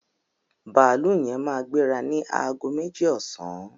Bàálù yẹn máa gbéra ni aago méjì ọsàn